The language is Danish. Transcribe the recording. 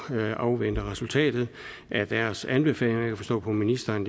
afvente resultatet af deres anbefalinger jeg kan forstå på ministeren